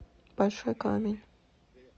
большой камень